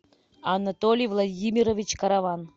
анатолий владимирович караван